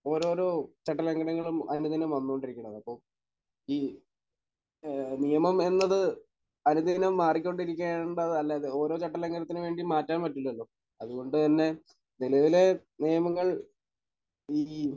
ഓരോരോ ചട്ടലംഘനങ്ങളും അനുദിനം വന്നുകൊണ്ടിരിക്കുന്നത്. അപ്പോൾ ഈ ഏഹ് നിയമം എന്നത് അനുദിനം മാറിക്കൊണ്ടിരിക്കുകയാണെന്നാണ് എന്നതല്ലല്ലോ. ഓരോ ചട്ടലംഘനത്തിനും വേണ്ടി മാറ്റാൻ പറ്റുന്നതേയുള്ളു. അതുകൊണ്ട് തന്നെ നിലവിലെ നിയമങ്ങൾ ഇനിയും